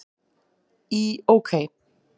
Í OK!